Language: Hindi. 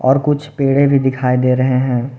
और कुछ पेड़े भी दिखाई दे रहे है।